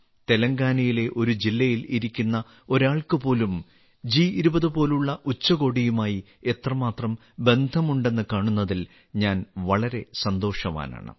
തെലങ്കാനയിലെ ഒരു ജില്ലയിൽ ഇരിക്കുന്ന ഒരാൾക്ക് പോലും ജി20 പോലുള്ള ഉച്ചകോടിയുമായി എത്രമാത്രം ബന്ധമുണ്ടെന്ന് കാണുന്നതിൽ ഞാൻ വളരെ സന്തോഷവാനാണ്